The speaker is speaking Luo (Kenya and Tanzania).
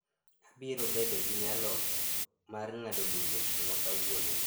Abiro bedo gi nyalo mar ng'ado lum otieno ma kawuono